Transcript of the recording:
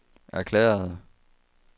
erklærede